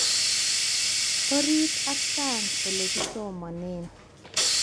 Orit ak sang olekisomanee